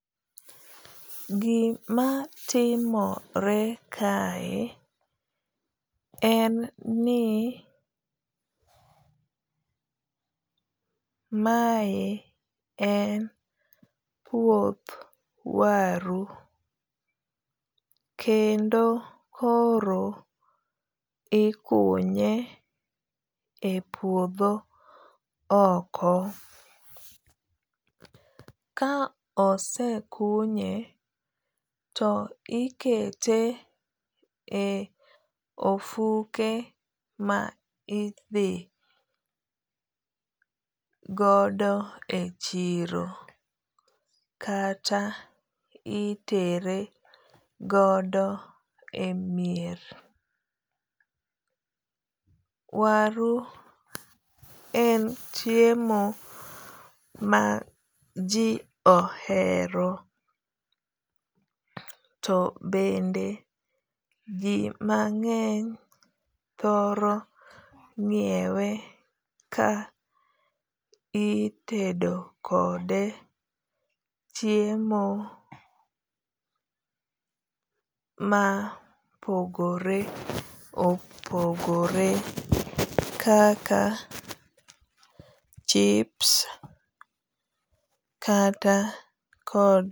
Gima timore kae en ni mae e puoth waru. Kendo koro ikunye e puodho oko. Ka osekunye to ikete e ofuke ma idhi godo e chiro. Kata itere godo e mier. Waru en chiemo ma ji ohero to bende ji mang'eny thoro ng'iewe ka itedo kode chiemo ma opogore opogore kaka chips kata.